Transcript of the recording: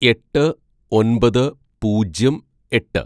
"എട്ട് ഒന്‍പത് പൂജ്യം എട്ട്‌